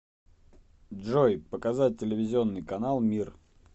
джой показать телевизионный канал мир